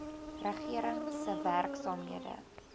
regering se werksaamhede